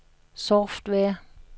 software